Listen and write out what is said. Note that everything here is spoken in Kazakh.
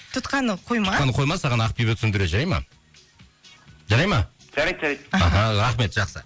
тұтқаны қойма тұтқаны қойма саған ақбибі түсіндіреді жарайды ма жарайды ма жарайды жарайды аха рахмет жақсы